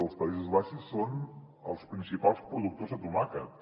els països baixos són els principals productors de tomàquet